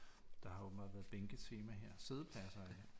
Der har jo nok været bænke tema her siddepladser er det